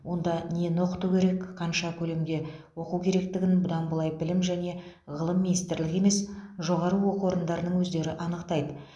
онда нені оқыту керек қанша көлемде оқу керектігін бұдан былай білім және ғылым министрлігі емес жоғары оқу орындарының өздері анықтайды